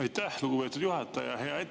Aitäh, lugupeetud juhataja!